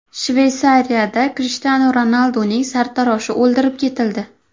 Shveysariyada Krishtianu Ronalduning sartaroshi o‘ldirib ketildi.